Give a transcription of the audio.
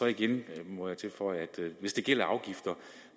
igen tilføje at hvis det gælder afgifter